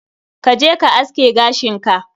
Ka je ka aske gashin ka.